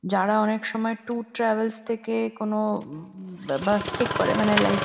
যারা অনেকসময় tour travels থেকে কোনো উমম বাস ঠিক করে মানে লাইক --